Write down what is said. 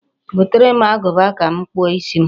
Gotere m agụba ka m kpụọ isi m.